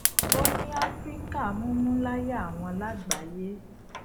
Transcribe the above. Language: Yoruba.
ó ní àfíríkà mumu laya awon lágbàáyé